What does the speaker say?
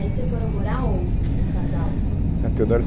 E aí vocês foram morar onde, o casal? Na Teodoro